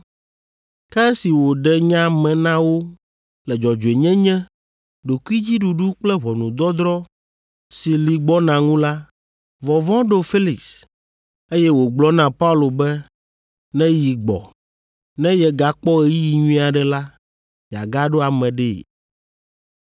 Ke esi wòɖe nya me na wo le dzɔdzɔenyenye, ɖokuidziɖuɖu kple ʋɔnudɔdrɔ̃ si li gbɔna ŋu la, vɔvɔ̃ ɖo Felix, eye wògblɔ na Paulo be neyi gbɔ, ne yegakpɔ ɣeyiɣi nyui aɖe la, yeagaɖo ame ɖee.